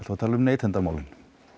tala um neytendamálin